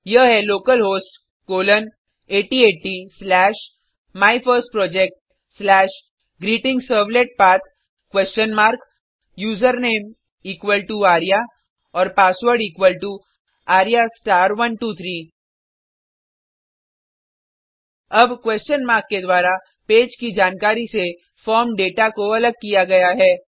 यह है localhost colon 8080 slash my first project slash greeting servlet path question mark username equal to Arya और password equal to arya123 अब question mark के द्वारा पेज की जानकारी से फॉर्म दाता को अलग किया गया है